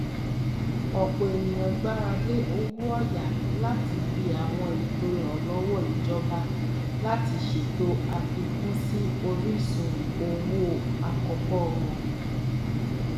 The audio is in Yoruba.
ọpọ ènìyàn gbáralé owóọyà látibi àwọn ètò ìrànlọwọ ìjọba láti ṣètò àfikún sí orísun owó àkọkọ wọn